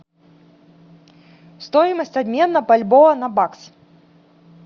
стоимость обмена бальбоа на бакс